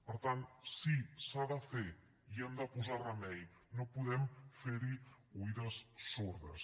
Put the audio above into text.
per tant sí s’ha de fer hi hem de posar remei no podem fer hi oïdes sordes